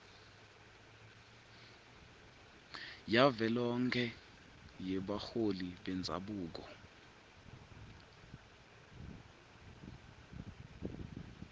yavelonkhe yebaholi bendzabuko